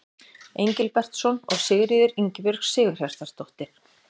Engilbertsson og Sigríður Ingibjörg Sigurhjartardóttir.